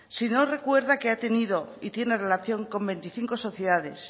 si no recuerda que ha tenido y tiene relación con veinticinco sociedades